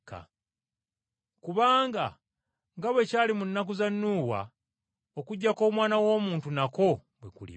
Kubanga nga bwe kyali mu biseera bya Nuuwa, okujja kw’Omwana w’Omuntu nakwo bwe kuliba.